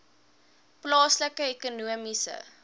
plaaslike ekonomiese